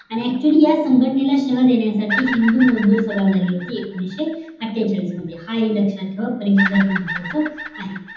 आणि actually या संघटनेला शबल देण्यासाठी हिंदू मजदूर सभा झली होती एकोणीशे आत्तेचाळीस मध्ये हा हि लक्ष्यात ठेवा परीक्षेसाठी महत्वाचं आहे